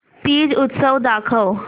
तीज उत्सव दाखव